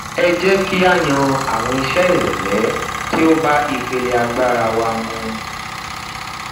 ẹ jẹ ki a yan awọn iṣe irọlẹ ti o ba ipele agbara wa mu